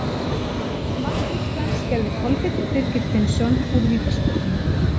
Mark Íslands gerði Kolbeinn Birgir Finnsson úr vítaspyrnu.